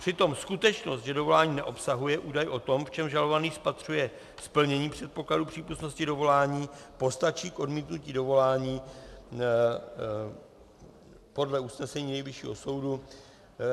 Přitom skutečnost, že dovolání neobsahuje údaj o tom, v čem žalovaný spatřuje splnění předpokladů přípustnosti dovolání, postačí k odmítnutí dovolání podle usnesení Nejvyššího soudu.